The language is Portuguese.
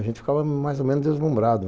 A gente ficava mais ou menos deslumbrado.